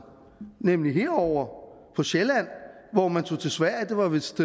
nemlig herovre på sjælland hvor man tog til sverige det var vist